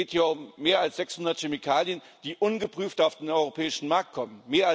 Es geht hier um mehr als 600 Chemikalien, die ungeprüft auf den europäischen Markt kommen.